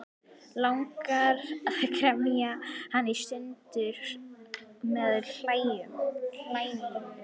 Langar að kremja hann í sundur með hælunum.